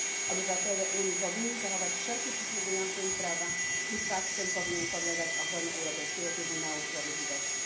Obywatele Unii powinni zachować wszelkie przysługujące im prawa i fakt ten powinien podlegać ochronie Europejskiego Trybunału Sprawiedliwości.